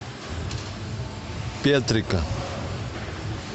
петрика